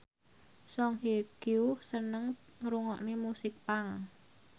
Song Hye Kyo seneng ngrungokne musik punk